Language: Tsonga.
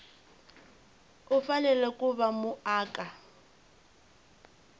u fanele ku va muaka